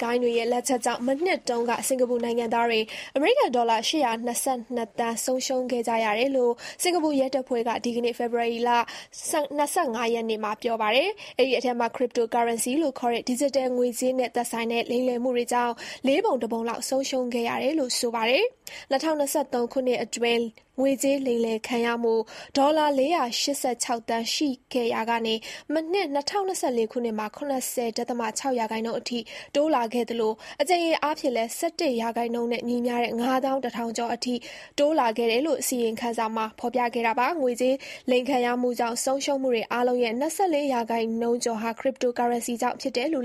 ဂိုဏ်းတွေရဲ့ လက်ချက်ကြောင့် စင်္ကာပူနိုင်ငံသားတွေ ဒေါ်လာ (၈၂၂) သန်း မနှစ်က ဆုံးရှုံးခဲ့ကြရ တယ်လို့ စင်္ကာပူရဲတပ်ဖွဲ့က ဒီကနေ့ ပြောပါတယ်။ အဲဒီအထဲမှာ Cryptocurrency လို့ခေါ်တဲ့ ဒီဂျစ်တယ် ငွေကြေးနဲ့သက်ဆိုင်တဲ့လိမ်လည်မှုတွေကြောင့် လေးပုံတပုံလောက် ဆုံးရှုံးခဲ့ရတယ်လို့ ဆိုပါတယ်။ ၂၀၂၃ ခုနှစ်အတွင်း ငွေကြေးလိမ်လည်ခံရမှု ဒေါ်လာ (၄၈၆) သန်း ရှိခဲ့ရာက မနှစ် ၂၀၂၄ ခုနှစ်မှာ ၇၀.၆% အထိတိုးလာခဲ့သလို အကြိမ်ရေအားဖြင့်လည်း ၁၁% နဲ့ ညီမျှတဲ့ ၅၁,၀၀၀ ကျော်အထိ တိုးလာခဲ့တယ်လို့ ဆိုပါတယ်။ အလိမ်ခံရမှုဆုံးရှုံးမှုတွေအားလုံးရဲ့ ၂၄% ကျော်ဟာ Cryptocurrency ကြောင့်ဖြစ်တယ်လို့